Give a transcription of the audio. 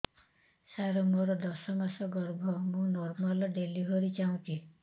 ସାର ମୋର ଦଶ ମାସ ଗର୍ଭ ମୁ ନର୍ମାଲ ଡେଲିଭରୀ ଚାହୁଁଛି